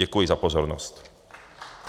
Děkuji za pozornost.